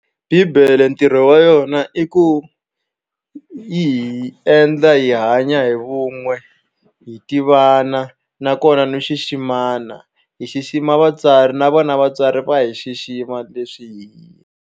Bibele ntirho wa yona i ku yi hi endla hi hanya hi vun'we hi tivana nakona no xiximana hi xixima vatswari na vona vatswari va hi xixima leswi hi.